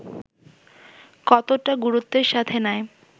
কতটা গুরুত্বের সাথে নেয়